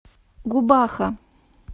губаха